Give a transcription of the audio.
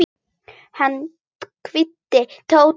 Hann kvaddi Tóta en hikaði.